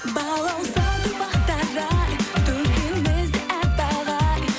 балауса гүл бақтары ай төбемізде аппақ ай